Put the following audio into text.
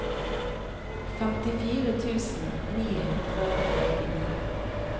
femtifire tusen ni hundre og førtini